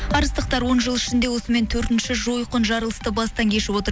арыстықтар он жыл ішінде осымен төртінші жойқын жарылысты бастан кешіп отыр